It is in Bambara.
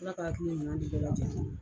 Ala ka hakili ɲuman di bɛɛ lajɛlen ma.